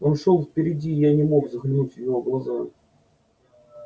он шёл впереди и я не мог заглянуть в его глаза